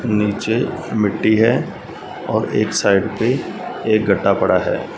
नीचे मिट्टी है और एक साइड पे एक गड्ढा पड़ा है।